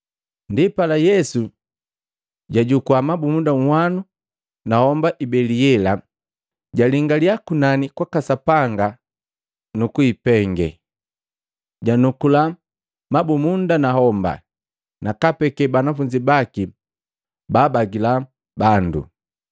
Ndipala Yesu jajukua mabumunda unhwanu na homba ibeli yela, jalingalya kunani kwaka Sapanga kwaka Sapanga, nukuipengee. Ndienu janukula mabumunda nahomba, nakaapeke banafunzi baki baabagila bandu.